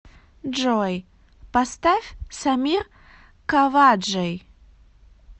джой поставь самир каваджей